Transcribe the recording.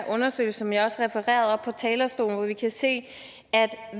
undersøgelse som jeg også refererede på talerstolen hvor vi kan se